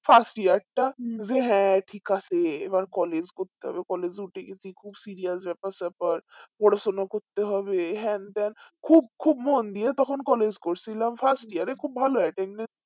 fast year টা যে হ্যাঁ ঠিক আছে এবার collage করতে হবে collage এ উঠে গেছি খুব serious ব্যাপার স্যাপার পড়াশোনা করতে হবে হ্যান ত্যান খুব খুব মন দিয়ে তখন collage করছিলাম fast year এ খুব ভালো attendance